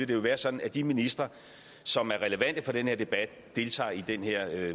det vil være sådan at de ministre som er relevante for den her debat deltager i den her